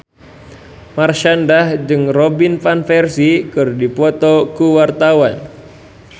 Marshanda jeung Robin Van Persie keur dipoto ku wartawan